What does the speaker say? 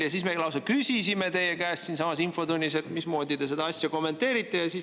Ja me lausa küsisime teie käest siinsamas infotunnis, et mismoodi te seda asja kommenteerite.